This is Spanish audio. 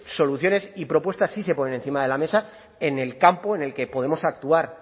soluciones y propuestas sí se ponen encima de la mesa en el campo en el que podemos actuar